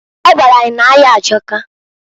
O gwara anyi na-aya ajọka.